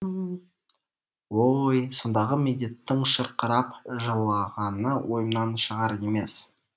о ой сондағы медеттің шырқырап жылағаны ойымнан шығар емес